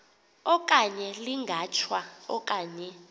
okanye ligatya okanye